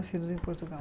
Nascidos em Portugal.